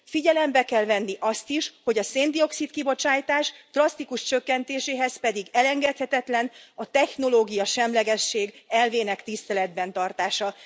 Figyelembe kell venni azt is, hogy a széndioxid kibocsátás drasztikus csökkentéséhez pedig elengedhetetlen a technológiasemlegesség elvének tiszteletben tartása.